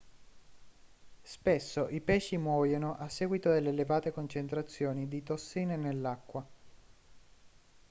spesso i pesci muoiono a seguito delle elevate concentrazioni di tossine nell'acqua